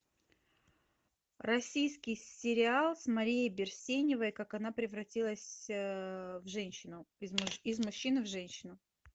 российский сериал с марией берсеневой как она превратилась в женщину из мужчины в женщину